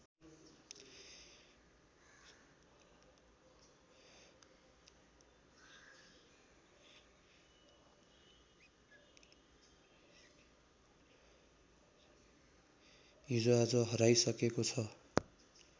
हिजोआज हराइसकेको छ